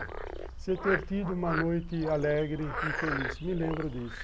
Você ter tido uma noite alegre e feliz, me lembro disso.